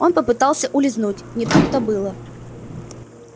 он попытался улизнуть не тут-то было